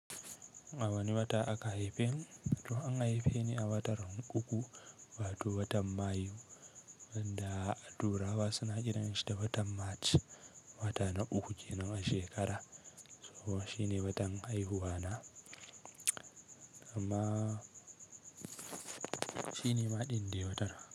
A wani wata aka haifi ni, to an haife ni a watar uku wato watan Mayu, da a turawa suna kiranshi da watan March, wata na uku kenan a shekara. So shine watan haihuwa na, amma shine maɗin de watan.